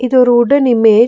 இது ஒரு wooden image .